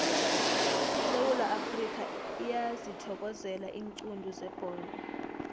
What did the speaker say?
isewula afrikha iyazithokozela iinqundu zebholo